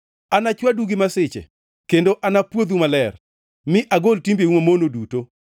Anachwadu gi masiche kendo anapwodhu maler, mi agol timbeu mamono duto.